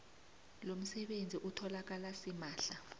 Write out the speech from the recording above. lomsebenzi utholakala simahla